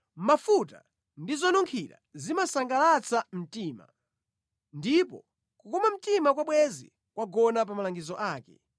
Mafuta ndi zonunkhira zimasangalatsa mtima, ndipo kukoma mtima kwa bwenzi kwagona pa malangizo ake.